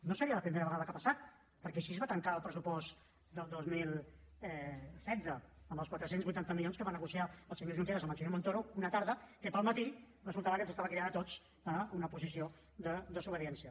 no seria la primera vegada que ha passat perquè així es va tancar el pressupost del dos mil setze amb els quatre cents i vuitanta milions que va negociar el senyor junqueras amb el senyor montoro una tarda que al matí resultava que ens estava cridant a tots a una posició de desobediència